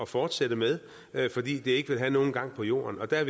fortsætte med fordi det ikke vil have nogen gang på jorden der